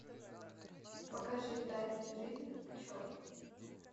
покажи тайная жизнь пчел